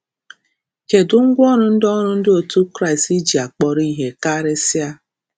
Kedụ ngwaọrụ ndị ọrụ ndị otu Kraịst ji akpọrọ ihe karịsịa?